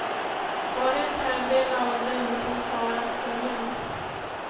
Bara en fjärdedel av dem som svarat är män.